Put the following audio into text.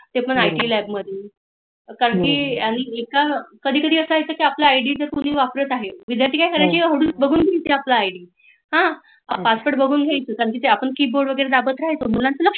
ते पण I. T lab मधे कारण कि कधी कधी आपला आय. डी कुणी वापरत आहे विद्यार्थी काय करायची password बघुन घ्यायचे आपला आईडी हां password बघून घ्यायचे ते पण आपण key board वगेरे दाबत राहायचं मुलाचं लक्ष